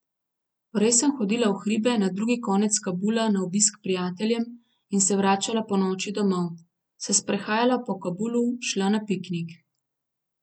Prej sem hodila v hribe, na drugi konec Kabula na obisk k prijateljem in se vračala ponoči domov, se sprehajala po Kabulu, šla na piknik...